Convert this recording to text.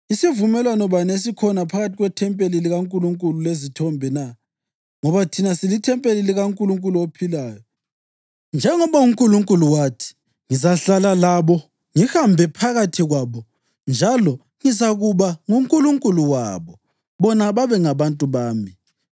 Yisivumelwano bani esikhona phakathi kwethempeli likaNkulunkulu lezithombe na? Ngoba thina silithempeli likaNkulunkulu ophilayo. Njengoba uNkulunkulu wathi: “Ngizahlala labo ngihambe phakathi kwabo njalo ngizakuba nguNkulunkulu wabo bona babengabantu bami.” + 6.16 ULevi 26.12; UJeremiya 32.38; UHezekhiyeli 37.27